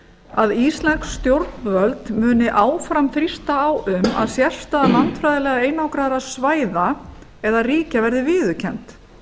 að íslensk stjórnvöld muni áfram þrýsta á um að sérstaða landfræðilega einangraðra svæða eða ríkja verði viðurkennd